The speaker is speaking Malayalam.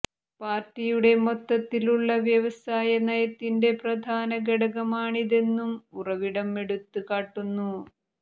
പാർട്ടിയുടെ മൊത്തത്തിലുള്ള വ്യവസായ നയത്തിന്റെ പ്രധാന ഘടകമാണിതെന്നും ഉറവിടം എടുത്ത് കാട്ടുന്നു